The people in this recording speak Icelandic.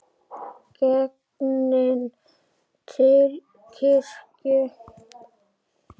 Genginn til kirkju.